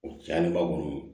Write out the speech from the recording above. O caya kɔni